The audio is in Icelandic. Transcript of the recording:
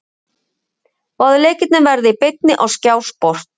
Báðir leikirnir verða í beinni á Skjár Sport.